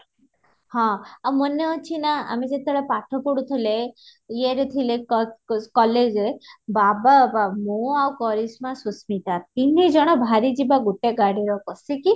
ହଁ ଆଉ ମନେ ଅଛି ନା ଆମେ ଯେତେବେଳେ ପାଠପଢୁଥିଲେ ଈଏ ରେ ଥିଲେ college ରେ ଥିଲେ ବାବା ବାବା ମୁଁ ଆଉ କରିଶ୍ମା ସୁସ୍ମିତା ତିନି ଜଣ ବାହାରି ଯିବା ଗୋଟେ ଗାଡି ରେ ବସୀକି